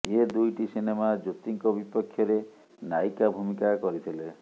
ଏ ଦୁଇଟି ସିନେମା ଜ୍ୟୋତିଙ୍କ ବିପକ୍ଷରେ ନାୟିକା ଭୂମିକା କରିଥିଲେ